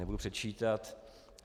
Nebudu předčítat.